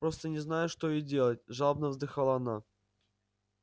просто не знаю что и делать жалобно вздыхала она